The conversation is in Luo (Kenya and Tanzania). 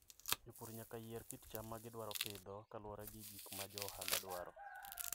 Jopur nyaka yier kit cham ma gidwaro pidho kaluwore gi gik ma jo ohala dwaro.